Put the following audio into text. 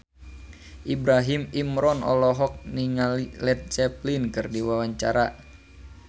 Ibrahim Imran olohok ningali Led Zeppelin keur diwawancara